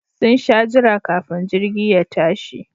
Sun sha jira kafin jirgi ya tashi